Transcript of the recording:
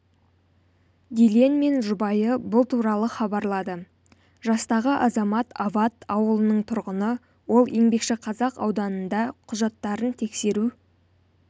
дильен мен жұбайы бұл туралы хабарлады жастағы азамат ават ауылының тұрғыны ол еңбекшіқазақ ауданында құжаттарын тексеру